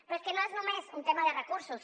però és que no és només un tema de recursos